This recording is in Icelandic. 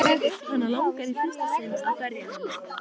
Hana langar í fyrsta sinn til að berja hann.